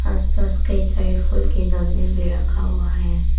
आसपास कई सारे फूल के गमले भी रखा हुआ है।